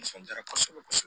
Nisɔndiyara kosɛbɛ kosɛbɛ